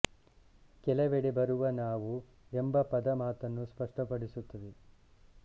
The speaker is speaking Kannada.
ಕೆಲವೆಡೆ ಬರುವ ನಾವು ಎಂಬ ಪದ ಈ ಮಾತನ್ನು ಸ್ಪಷ್ಟಪಡಿಸುತ್ತದೆ